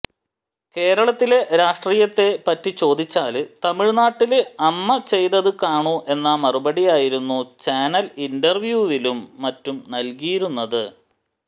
കേരളത്തിലെ രാഷ്ട്രീയത്തെ പറ്റിചോദിച്ചാല് തമിഴ്നാട്ടില് അമ്മ ചെയ്തത് കാണൂ എന്ന മറുപടിയായിരുന്നു ചാനല് ഇന്റര്വ്യൂവിലും മറ്റും നല്കിയിരുന്നത്